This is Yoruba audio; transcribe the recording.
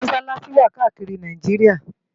Mọṣalaṣi wá kàákiri Náijiriá